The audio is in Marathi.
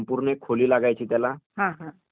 आणि खूप म्हणजे महागडे होते ते